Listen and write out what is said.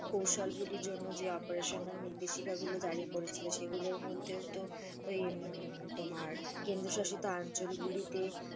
কৌশল গুলির জন্য যে, অপারেশনাল নির্দেশিকা গুলো জারি করেছিল সেগুলোর মধ্যেও তো ওই তোমার কেন্দ্রশাসিত অঞ্চল গুলিতে,